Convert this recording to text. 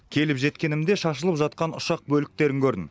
келіп жеткенімде шашылып жатқан ұшақ бөліктерін көрдім